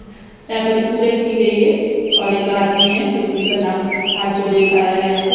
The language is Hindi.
यहा पर पूजा की गई है और एक आदमी है जो कि पानाम हाथ जोरे खड़ा है यहा पर--